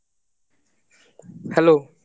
Hello